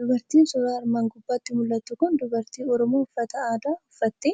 Dubartiin suura armaan gubbaatti mul'attu kun dubartii Oromoo uffata aadaa uffattee,